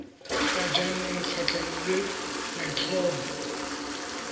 ga jaanong kgatlhanong le maitlhomo